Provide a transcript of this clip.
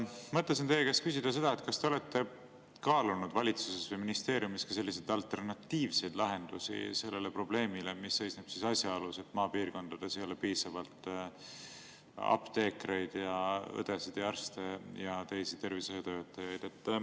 Ma mõtlesin teie käest küsida, kas te olete valitsuses või ministeeriumis kaalunud alternatiivseid lahendusi sellele probleemile, et maapiirkondades ei ole piisavalt apteekreid, õdesid, arste ja teisi tervishoiutöötajaid.